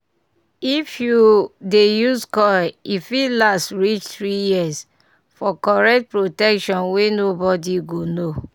if you dey use coil e fit last reach 3yrs-- for correct protection wey nobody go know